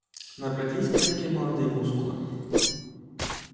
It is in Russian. напряглись крепкие молодые мускулы